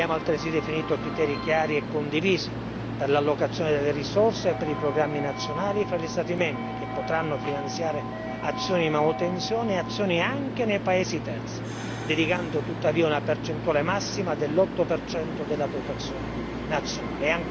Abbiamo altresì definito criteri chiari e condivisi per l'allocazione delle risorse e per i programmi nazionali fra gli Stati membri, che potranno finanziare azioni di manutenzione e azioni anche nei paesi terzi, dedicando tuttavia una percentuale massima dell'8 della dotazione nazionale.